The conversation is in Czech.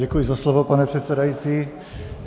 Děkuji za slovo, pane předsedající.